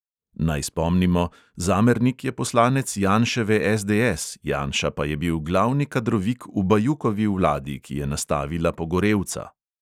Naj spomnimo, zamernik je poslanec janševe SDS, janša pa je bil glavni kadrovik v bajukovi vladi, ki je nastavila pogorevca.